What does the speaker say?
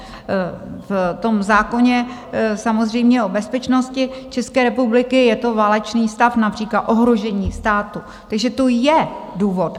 V tom zákoně samozřejmě o bezpečnosti České republiky je to válečný stav, například ohrožení státu, takže to je důvod.